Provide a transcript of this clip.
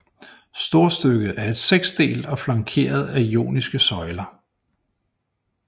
Storstykket er seksdelt og flankeret af joniske søjler